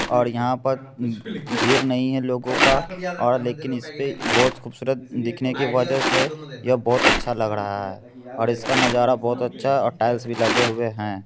और यहां पर भीड़ नहीं है लोगों का । और लेकिन इसेपे बहुत खूबसूरत दिखने की वजह से यह बहुत अच्छा लग रहा है। और इसका नजारा बहुत अच्छा और टाइल्स भी लगे हुए हैं।